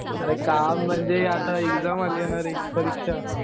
अरे काम म्हणजे आता एक्झाम आलीय ना रे, परीक्षा.